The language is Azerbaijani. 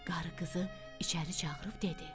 Qarı qızı içəri çağırıb dedi: